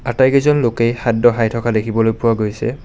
আটাইকেইজন লোকে শাড খায় থকা দেখিবলৈ পোৱা গৈছে।